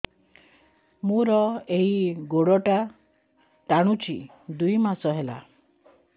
ମୋର ଏଇ ଗୋଡ଼ଟା ଟାଣୁଛି ଦୁଇ ମାସ ହେଲା